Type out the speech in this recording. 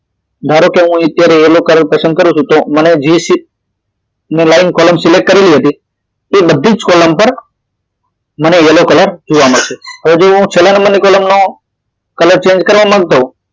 ધારો કે હું અત્યારે વેલા કલર પસંદ કરું છું તો મે જે line column select કરેલી હતી તે બધી જ column પર મને yellow કલર જોવા મળશે હવે જો હું છેલ્લા નંબર ની column નો કલર change કરવા માંગતો હોવ